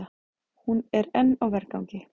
Hún er enn á vergangi.